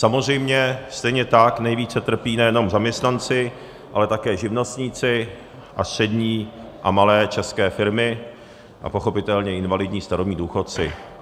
Samozřejmě stejně tak nejvíce trpí nejenom zaměstnanci, ale také živnostníci a střední a malé české firmy a pochopitelně invalidní, starobní důchodci.